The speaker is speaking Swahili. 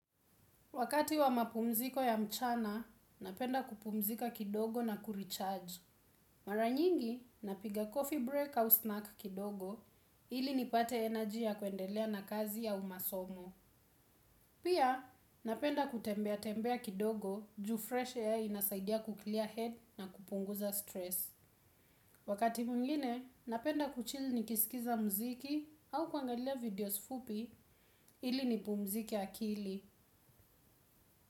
Wakati wa mapumziko ya mchana, napenda kupumzika kidogo na kurecharge. Maranyingi, napiga coffee break au snack kidogo, ili nipate energy ya kwendelea na kazi au masomo. Pia, napenda kutembea tembea kidogo juu fresh air inasaidia kuclear head na kupunguza stress. Wakati mwngine, napenda kuchill nikisikiza mziki au kuangalia videos fupi, ili nipumzike akili.